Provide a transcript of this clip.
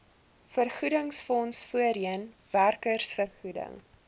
vergoedingsfonds voorheen werkersvergoeding